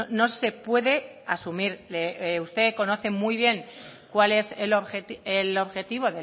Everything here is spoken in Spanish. no se puede asumir usted conoce muy bien cuál es el objetivo